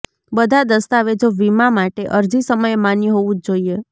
બધા દસ્તાવેજો વીમા માટે અરજી સમયે માન્ય હોવું જ જોઈએ